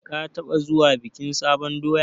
Ka taɓa zuwa bikin sabon doya?